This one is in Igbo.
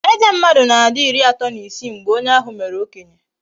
Eze mmadụ na-adi ịrị atọ na isii mgbe onye ahụ mere okenye